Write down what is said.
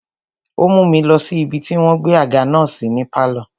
Ó mú mi lọ sí ibi tí wọ́n gbé àga náà sí ní pálọ̀.